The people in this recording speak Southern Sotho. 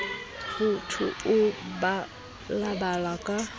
ho tu o balabala ka